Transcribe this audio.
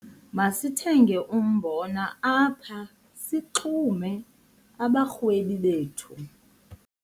Masithenge umbona apha sixume abarhwebi bethu.